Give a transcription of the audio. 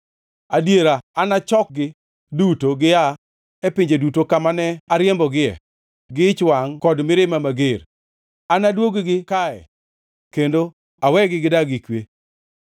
Adiera anachokgi duto gia e pinje duto kamane ariembogie gi ich wangʼ kod mirimba mager; anadwog-gi kae kendo awegi gidag gi kwe.